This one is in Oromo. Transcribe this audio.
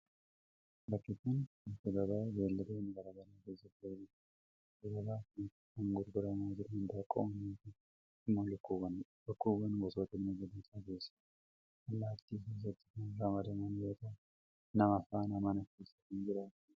Bakki kun, bakka gabaa beeyiladoonni garaa garaa keessatti gurguramanii dha. Bakka gabaa kanatti kan gurguramaa jiran indaaqqoowwan yookin immoo lukkuuwwanii dha. Lukkuuwwan gosoota bineeldotaa keessaa allaatti keessatti kan ramadaman yoo ta'u, nama faana mana keessa kan jiraatanii dha.